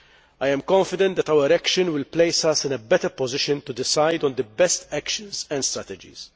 I am confident that our action will place us in a better position to decide on the best actions and strategies.